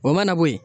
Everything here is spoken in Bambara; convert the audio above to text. O mana bo ye